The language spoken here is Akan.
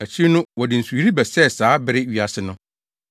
Akyiri no wɔde nsuyiri bɛsɛee saa bere wiase no.